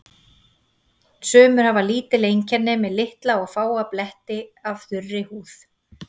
Sumir hafa lítil einkenni með litla og fáa bletti af þurri húð.